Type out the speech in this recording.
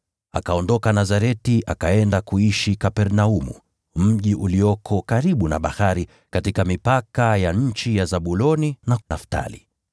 Akaondoka Nazareti akaenda kuishi Kapernaumu, mji ulioko karibu na bahari, katika mipaka ya nchi ya Zabuloni na Naftali,